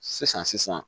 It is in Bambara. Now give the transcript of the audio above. Sisan sisan